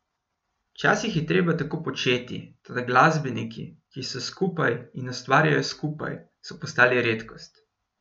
Včasih je treba tako početi, toda glasbeniki, ki so skupaj in ustvarjajo skupaj, so postali redkost.